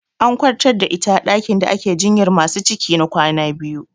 An kwantar da ita a ɗakin da ake jinyar masu ciki na kwana biyu.